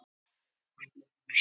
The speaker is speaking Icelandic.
Nei það er ekki rétt.